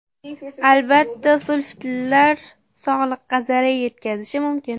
Albatta, sulfitlar sog‘liqqa zarar yetkazishi mumkin.